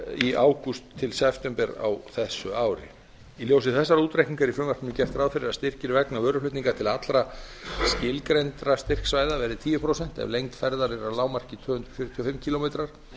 í ágúst til september á þessu ári í ljósi þessara útreikninga er í frumvarpinu gert ráð fyrir að styrkir vegna vöruflutninga til allra skilgreindra styrksvæða verði tíu prósent ef lengd ferðar er að lágmarki tvö hundruð fjörutíu og fimm kílómetrar